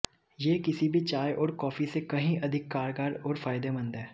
ये किसी भी चाय और काँफी से कहीं अधिक कारगर और फायदेमंद है